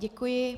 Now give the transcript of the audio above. Děkuji.